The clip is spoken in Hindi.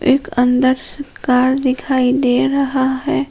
एक अंदर कार दिखाई दे रहा है।